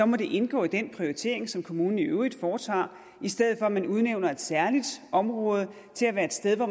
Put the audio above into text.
må det indgå i den prioritering som kommunen i øvrigt foretager i stedet for at man udnævner et særligt område til at være et sted hvor